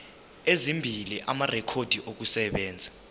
ezimbili amarekhodi okusebenza